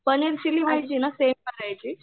paneer chilli म्हणजे ना करायची